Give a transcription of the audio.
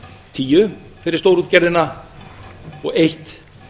tíu fyrir stórútgerðina og eitt